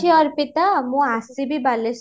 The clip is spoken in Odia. ଅର୍ପିତ ମୁଁ ଆସିବି ବାଲେଶ୍ଵର